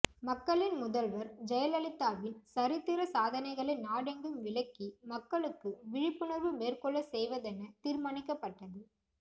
மக்களின் முதல்வர் ஜெயலலிதாவின் சரித்திர சாதனைகளை நாடெங்கும் விளக்கி மக்களுக்கு விழிப்புணர்வு மேற்கொள்ள செய்வதென தீர்மானிக்கப்பட்டது